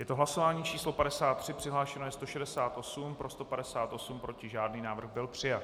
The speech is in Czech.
Je to hlasování číslo 53, přihlášeno je 168, pro 158, proti žádný, návrh byl přijat.